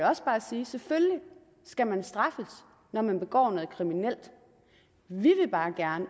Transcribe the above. også bare sige at selvfølgelig skal man straffes når man begår noget kriminelt vi vil bare gerne